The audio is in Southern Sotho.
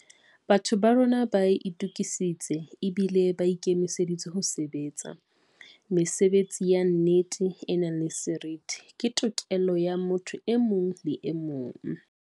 Batho ba rona ba itukisitse ebile ba ikemiseditse ho sebe tsa. Mesebetsi ya nnete, e nang le seriti, ke tokelo ya motho e mong le emong.